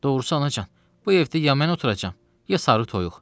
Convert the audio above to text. Doğrusu anacan, bu evdə ya mən oturacam, ya sarı toyuq.